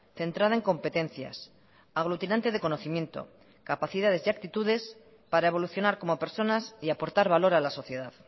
centrada en competencias aglutinante de conocimiento capacidades y actitudes para evolucionar como personas y aportar valor a la sociedad